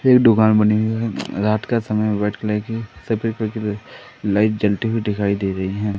दुकान बनी हुई है रात का समय व्हाइट कलर की सफेद कलर की लाइट जलती हुई दिखाई दे रही हैं।